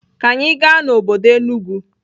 Ka anyi gaa n'obodo Enugwu.